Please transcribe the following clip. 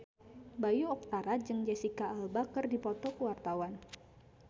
Bayu Octara jeung Jesicca Alba keur dipoto ku wartawan